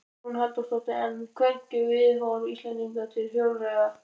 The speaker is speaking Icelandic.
Hugrún Halldórsdóttir: En hvernig er viðhorf Íslendinga til hjólreiða?